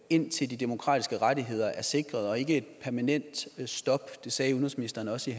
indtil de demokratiske rettigheder er sikret og ikke et permanent stop det sagde udenrigsministeren også i